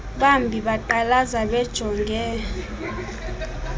bambi beqalaza bejonge